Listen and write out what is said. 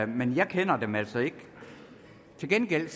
men jeg kender dem altså ikke til gengæld